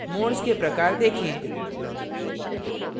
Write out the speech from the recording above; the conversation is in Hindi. modes के प्रकार देखें